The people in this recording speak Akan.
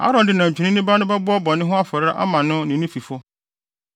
“Aaron de nantwinini ba no bɛbɔ bɔne ho afɔre ama ne ho ne ne fifo.